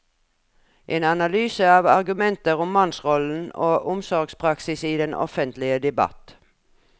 En analyse av argumenter om mannsrollen og omsorgspraksis i den offentlige debatt.